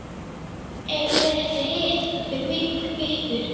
Eigum við ekki að hita þá fyrir ykkur?